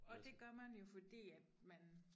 Og det gør man jo fordi at man